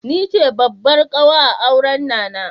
Ni ce babbar ƙawa a auran Nana.